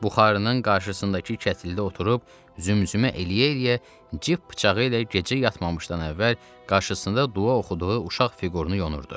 Buxarının qarşısındakı kətildə oturub zümzümə eləyə-eləyə cip bıçağı ilə gecə yatmamışdan əvvəl qarşısında dua oxuduğu uşaq fiqurunu yonurdu.